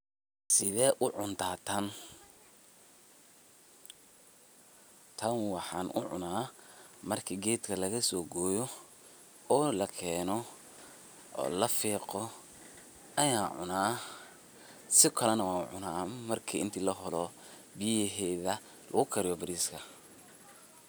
Tan waxan ucuna marki gedka lagasogoyo oo lakeno oo lafiqo ayan cuna, sikalena wan ucuna marki inti laholo biyaheda lugukariyo bariska.